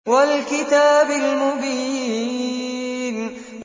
وَالْكِتَابِ الْمُبِينِ